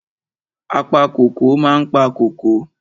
Apa kóko ma ń pa kóko.